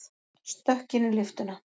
Stökk inn í lyftuna.